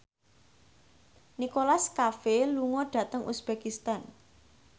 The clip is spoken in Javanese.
Nicholas Cafe lunga dhateng uzbekistan